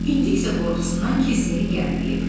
İndi isə qorxusundan kilsəyə gəlməyib.